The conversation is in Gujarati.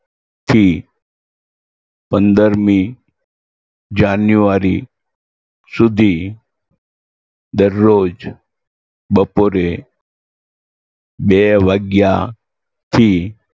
થી પંદરમી જાન્યુઆરી સુધી દરરોજ બપોરે બે વાગ્યાથી